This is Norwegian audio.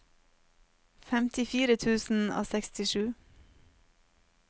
femtifire tusen og sekstisju